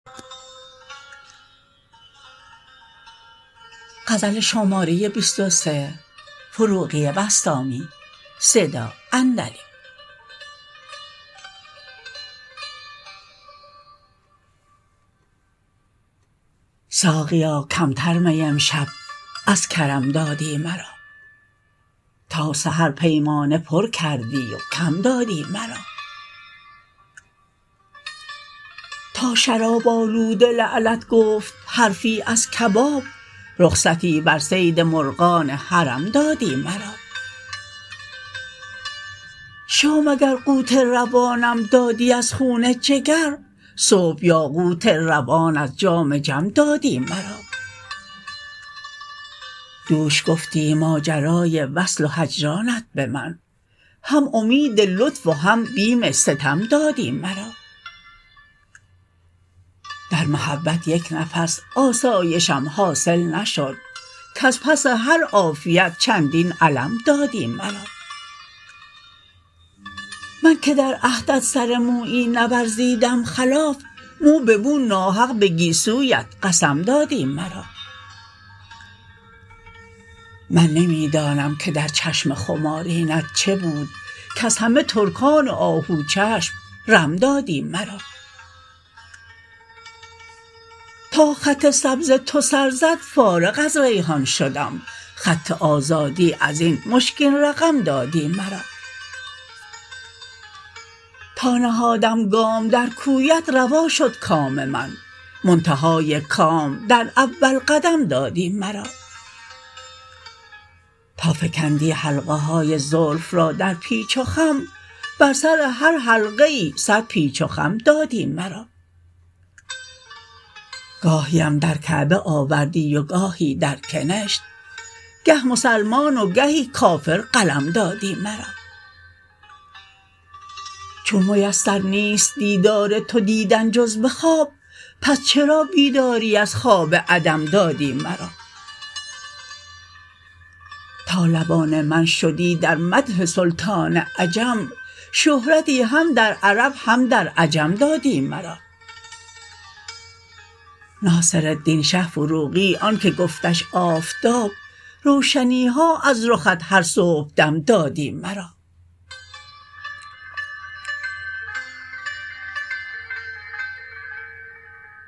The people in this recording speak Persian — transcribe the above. ساقیا کمتر می امشب از کرم دادی مرا تا سحر پیمانه پر کردی و کم دادی مرا تا شراب آلوده لعلت گفت حرفی از کباب رخصتی بر صید مرغان حرم دادی مرا شام اگر قوت روانم دادی از خون جگر صبح یاقوت روان از جام جم دادی مرا دوش گفتی ماجرای وصل و هجرانت به من هم امید لطف و هم بیم ستم دادی مرا در محبت یک نفس آسایشم حاصل نشد کز پس هر عافیت چندین الم دادی مرا من که در عهدت سر مویی نورزیدم خلاف مو به مو ناحق به گیسویت قسم دادی مرا من نمی دانم که در چشم خمارینت چه بود کز همه ترکان آهو چشم رم دادی مرا تا خط سبز تو سر زد فارغ از ریحان شدم خط آزادی ازین مشکین رقم دادی مرا تا نهادم گام در کویت روا شد کام من منتهای کام در اول قدم دادی مرا تا فکندی حلقه های زلف را در پیچ و خم بر سر هر حلقه ای صد پیچ و خم دادی مرا گاهیم در کعبه آوردی و گاهی در کنشت گه مسلمان و گهی کافر قلم دادی مرا چون میسر نیست دیدار تو دیدن جز به خواب پس چرا بیداری از خواب عدم دادی مرا تا لبان من شدی در مدح سلطان عجم شهرتی هم در عرب هم در عجم دادی مرا ناصرالدین شه فروغی آن که گفتش آفتاب روشنیها از رخت هر صبح دم دادی مرا